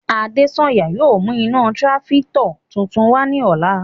Adesanya yóò mu ina tirafikatọ tuntun wa ni ọla